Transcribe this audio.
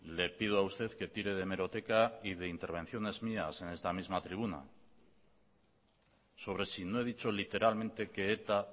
le pido a usted que tire de hemeroteca y de intervenciones mías en esta misma tribuna sobre si no he dicho literalmente que eta